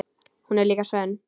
Hún er líka sönn.